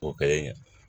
O kɛlen